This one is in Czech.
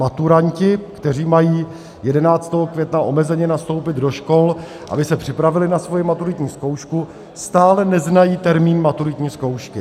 Maturanti, kteří mají 11. května omezeně nastoupit do škol, aby se připravili na svoji maturitní zkoušku, stále neznají termín maturitní zkoušky.